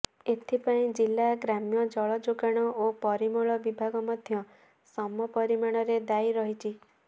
ଏଥିପାଇଁ ଜିଲା ଗ୍ରାମ୍ୟ ଜଳଯୋଗାଣ ଓ ପରିମଳ ବିଭାଗ ମଧ୍ୟ ସମ ପରିମାଣରେ ଦାୟି ରହିଛି